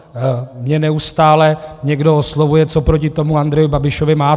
Mě neustále někdo oslovuje: co proti tomu Andrejovi Babišovi máte?